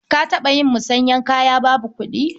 Ka taɓa yin musanyar kaya babu kuɗi?